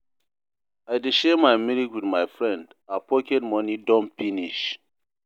I dey share my milk wit my friend, her pocket moni don finish.